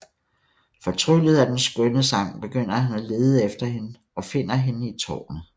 Fortryllet af den skønne sang begynder han at lede efter hende og finder hende i tårnet